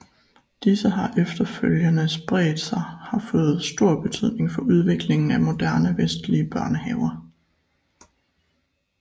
Disse har efterfølgende spredt sig har fået stor betydning for udviklingen af moderne vestlige børnehaver